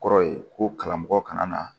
Kɔrɔ ye ko karamɔgɔ kana na